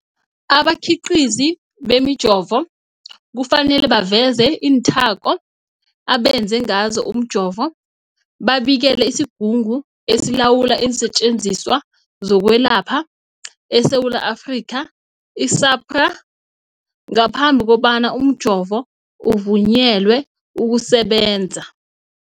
Abakhiqizi bemijovo kufanele baveze iinthako abenze ngazo umjovo, babikele isiGungu esiLawula iinSetjenziswa zokweLapha eSewula Afrika, i-SAHPRA, ngaphambi kobana umjovo uvunyelwe ukusebenza.